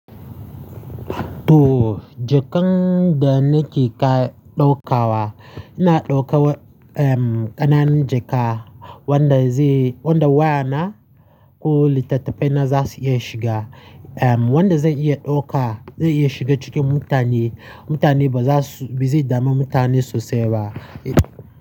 To, jakan da nake ka ɗauka wa, ina ɗauka wa, um, ƙananan jaka wanda zai, wanda wayana ko littattafaina za su iya shiga. Um, wanda zan iya ɗauka, zai iya shiga cikin mutane, mutane ba za su, ba zai dami mutane sosai ba.